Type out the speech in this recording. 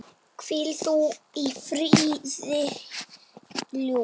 Hvíl þú í friði, ljúfur.